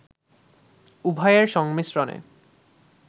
উভয়ের সংমিশ্রণে